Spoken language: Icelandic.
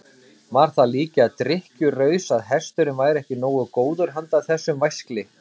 Var það líka drykkjuraus að hesturinn væri ekki nógu góður handa þessum væskli?